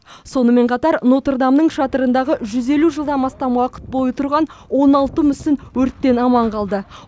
сонымен қатар нотр дамның шатырындағы жүз елу жылдан астам уақыт бойы тұрған он алты мүсін өрттен аман қалды